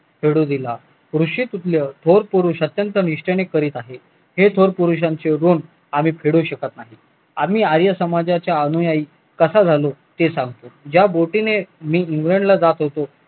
घडू दिला थोर पुरुष अत्यंत निष्टेने करत आहे हे थोर पुरुषांचे ऋण आम्ही फेडू शकत नाही आम्ही आर्य समाजाच्या अनुयायी कसा झालो ते सांगतो ज्या बोटीने मी जातो